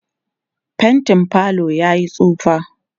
faintin falo yayi tsufa